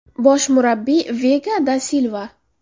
Bosh murabbiy: Vega da Silva.